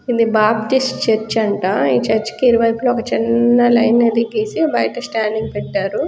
ఇది Baptist church అంట. ఈ చర్చ కి ఇరువైపులా ఒక చిన్న లైన్ అయితే గీసి బయట స్టాండింగ్ పెట్టారు.